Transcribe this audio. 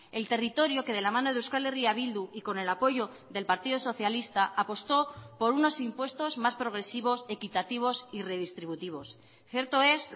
el territorio que de la mano de euskal herria bildu y con el apoyo del partido socialista apostó por unos impuestos más progresivos equitativos y redistributivos cierto es